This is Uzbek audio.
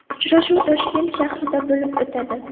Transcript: Uchrashuv Toshkent shahrida bo‘lib o‘tadi.